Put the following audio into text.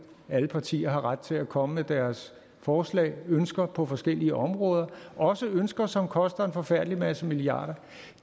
alle partier har ret til at komme med deres forslag og ønsker på forskellige områder også ønsker som koster en forfærdelig masse milliarder